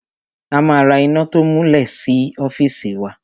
A ma ra iná to múlẹ̀ sí ọ́fìsì wa.